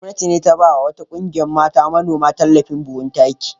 Gwamnati ta ba wa wata ƙungiyar mata manoma tallafin buhhunan taki.